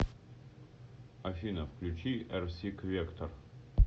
афина включи эрсик вектор